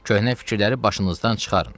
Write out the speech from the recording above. Köhnə fikirləri başınızdan çıxarın.